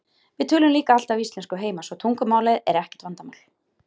Við töluðum líka alltaf íslensku heima svo tungumálið var ekkert vandamál.